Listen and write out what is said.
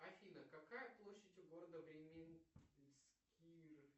афина какая площадь у города